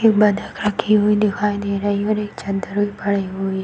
एक हुई दिखाई दे रही है और एक चद्दर भी पड़ी हुई --